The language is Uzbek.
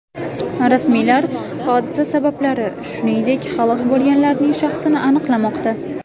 Rasmiylar hodisa sabablari, shuningdek, halok bo‘lganlarning shaxsini aniqlamoqda.